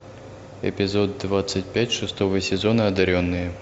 эпизод двадцать пять шестого сезона одаренные